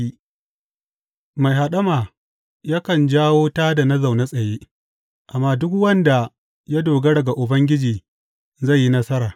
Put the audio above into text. Mai haɗama yakan jawo tā da na zaune tsaye, amma duk wanda ya dogara ga Ubangiji zai yi nasara.